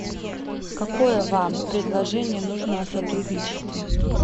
какое вам предложение нужно о сотрудничестве